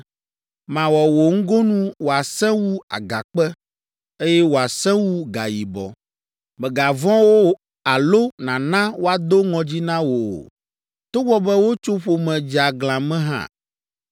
Mawɔ wò ŋgonu wòasẽ wu agakpe, eye wòasẽ wu gayibɔ. Mègavɔ̃ wo alo nàna woado ŋɔdzi na wò o, togbɔ be wotso ƒome dzeaglã me hã.”